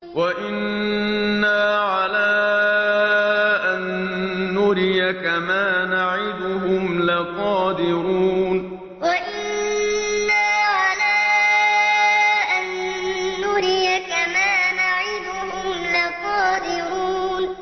وَإِنَّا عَلَىٰ أَن نُّرِيَكَ مَا نَعِدُهُمْ لَقَادِرُونَ وَإِنَّا عَلَىٰ أَن نُّرِيَكَ مَا نَعِدُهُمْ لَقَادِرُونَ